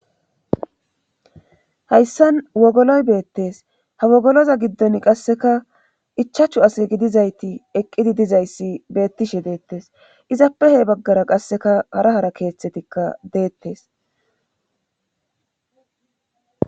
hayssan wogoloy beettes ha wogoloza giddon qasseka ichachu ase gidizayti eqqidi dizayssi beettishe deettes izappe he baggara qasseka hara hara keeththetikka deettes